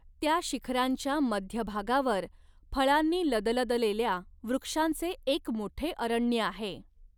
त्या शिखरांच्या मध्य भागावर फळांनी लदलदलेल्या वृक्षांचे एक मोठे अरण्य आहे.